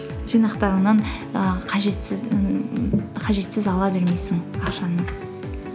жинақтарыңнан і қажетсіз ала бермейсің ақшаны